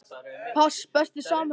pass Besti samherjinn?